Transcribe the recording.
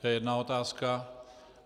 To je jedna otázka.